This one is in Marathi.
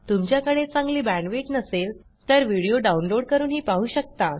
तुमच्याकडे चांगली बॅण्डविड्थ नसेल तर व्हिडीओ download160 करूनही पाहू शकता